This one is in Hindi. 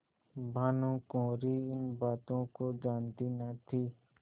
भानुकुँवरि इन बातों को जानती न थी